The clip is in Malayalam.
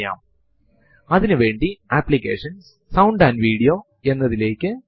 ലിനക്സ് സിസ്റ്റം തിലേക്കു നമ്മൾ ലോഗിൻ ചെയ്യുമ്പോൾ ഡിഫോൾട്ട് ആയി ഒരു ഹോം directory യിൽ ആണ് ചെല്ലുന്നത്